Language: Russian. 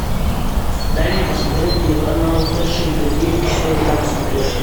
дай мне посмотреть телеканал фэшн тв четыре к на смотрешке